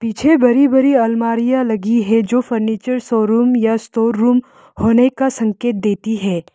पीछे बड़ी बड़ी अलमारियां लगी है जो फर्नीचर शोरूम या स्टोर रूम होने का संकेत देती है।